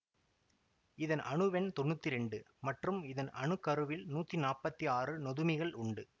இதன் அணுவெண் தொன்னூத்தி இரண்டு மற்றும் இதன் அணு கருவில் நூத்தி நாப்பத்தி ஆறு நொதுமிகள் உண்டு